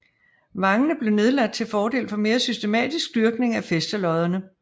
Vangene blev nedlagt til fordel for mere systematisk dyrkning af fæstelodderne